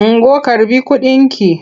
Ungo karɓi kudinki!